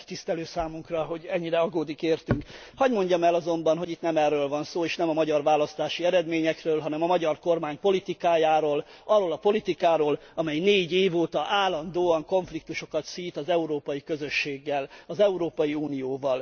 Megtisztelő számunka, hogy ennyire aggódik értünk! Hadd mondjam el azonban, hogy itt nem erről van szó, és nem a magyar választási eredményekről, hanem a magyar kormány politikájáról, arról a politikáról, amely négy év óta állandóan konfliktusokat szít az Európai Közösséggel, az Európai Unióval.